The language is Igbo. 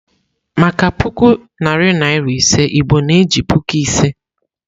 Maka puku narị naịra ise, Igbo na-eji "Puku Ise."